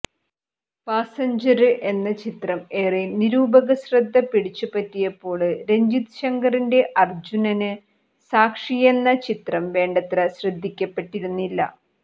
passenger എന്ന ചിത്രം ഏറെ നിരൂപകശ്രദ്ധ പിടിച്ചുപറ്റിയപ്പോള് രഞ്ചിത് ശങ്കറിന്റെ അര്ജുനന് സാക്ഷിയെന്ന ചിത്രം വേണ്ടത്ര ശ്രദ്ധിക്കപ്പെട്ടിരുന്നില്ല